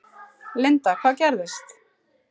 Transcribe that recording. Linda: Hvað gerðist?